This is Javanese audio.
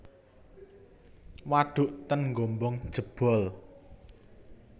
Waduk ten Gombong jebol